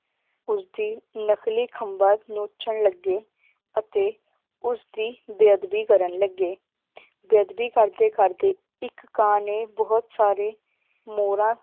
ਉਸਦੀ ਨਕਲੀ ਖੰਭਾਂ ਨੋਚਣ ਲੱਗੇ ਅਤੇ ਉਸਦੀ ਬੇਅਦਬੀ ਕਰਨ ਲੱਗੇ ਬੇਅਦਬੀ ਕਰਦੇ ਕਰਦੇ ਇਕ ਕਾਂ ਨੇ ਬਹੁਤ ਸਾਰੇ ਮੋਰਾਂ